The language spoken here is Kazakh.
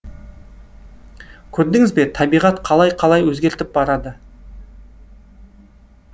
көрдіңіз бе табиғат қалай қалай өзгеріп барады